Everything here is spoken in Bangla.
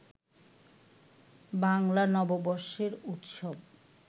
বাংলা নববর্ষের উৎসব